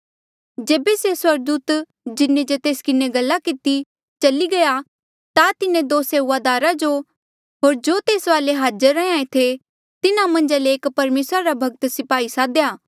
जेबे से स्वर्गदूत जिन्हें जे तेस किन्हें गल्ला किती चली गया ता तिन्हें दो सेऊआदारा जो होर जो तेस वाले हाजर रैंहयां ऐें थे तिन्हा मन्झा ले एक परमेसरा रा भक्त स्पाही सादेया